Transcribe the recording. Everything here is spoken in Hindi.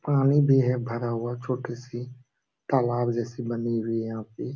पानी भी है भरा हुआ छोटी-सी तालाब जैसी बनी हुई है यहाँ पे।